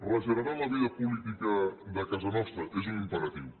regenerar la vida política de casa nostra és un imperatiu